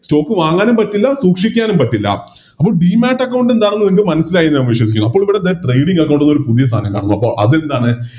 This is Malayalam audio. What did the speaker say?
Stock വാങ്ങാനും പറ്റില്ല സൂക്ഷിക്കാനും പറ്റില്ല അപ്പൊ Demat account എന്താണെന്ന് നിങ്ങൾക്ക് മനസ്സിലായി എന്ന് ഞാൻ വിശ്വസിക്കുന്നുണ് അപ്പോളിതെ ഇവിടെ Trading account ന്ന് പറഞ്ഞൊരു പുതിയൊരു സാധനം കാണുന്നു അപ്പൊ അതെന്താണ്